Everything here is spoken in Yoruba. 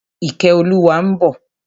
Ìkẹ́olúwa ń bọ̀.